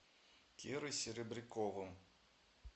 кирой серебряковым